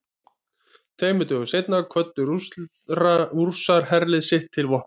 Tveimur dögum seinna kvöddu Rússar herlið sitt til vopna.